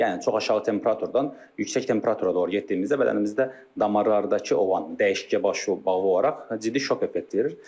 Yəni çox aşağı temperaturdan yüksək temperatura doğru getdiyimizdə bədənimizdə damarlardakı o olan dəyişikliklə bağlı olaraq ciddi şok effekti verir.